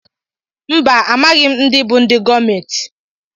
Mba amaghị m ndị bú ndị gọọmenti.